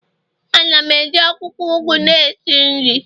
Ana m eji akwukwo ugu na esi nri